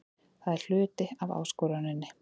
Það er hluti af áskoruninni.